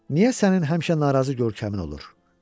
Niyə sənin həmişə narazı görkəmin olur?